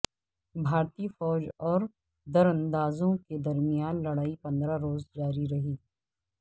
بھارتی فوج اور دراندازوں کے درمیان لڑائی پندرہ روز جاری رہی